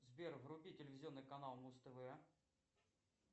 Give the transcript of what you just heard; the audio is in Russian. сбер вруби телевизионный канал муз тв